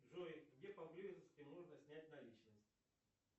джой где поблизости можно снять наличность